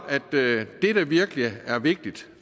at det der virkelig er vigtigt